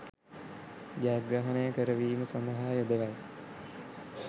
ජයග්‍රහණය කර වීම සදහා යොදවයි.